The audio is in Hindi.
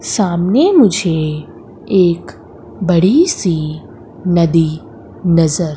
सामने मुझे एक बड़ी सी नदी नजर--